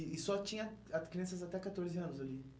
E e só tinha ah crianças até catorze anos ali?